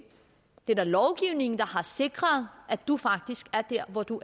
det er da lovgivning der har sikret at du faktisk er der hvor du